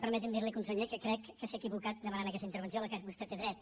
permeti’m dir li conseller que crec que s’ha equivocat demanant aquesta intervenció a la qual vostè té dret